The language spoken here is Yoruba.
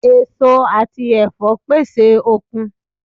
Èso àti ẹ̀fọ́ pèsè okun